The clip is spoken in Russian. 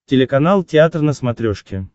телеканал театр на смотрешке